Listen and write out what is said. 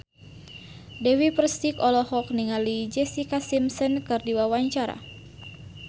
Dewi Persik olohok ningali Jessica Simpson keur diwawancara